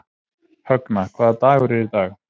Högna, hvaða dagur er í dag?